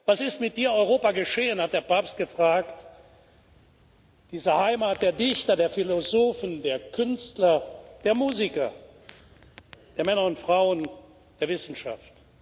Was ist mit Dir, Europa, geschehen hat der Papst gefragt dieser Heimat der Dichter, der Philosophen, der Künstler, der Musiker, der Männer und Frauen der Wissenschaft?